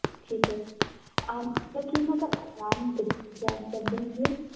ਠੀਕ ਹੈ ਅਮ ਮੈਂ ਕੀ ਮੈਂ ਤੁਹਾਡਾ ਨਾਮ ਜਾ~ ਜਾਣ ਸਕਦੀ ਹਾਂ